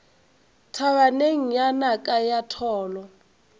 thabaneng ya naka la tholo